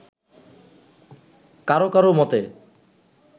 কারও কারও মতে